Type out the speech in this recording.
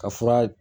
Ka fura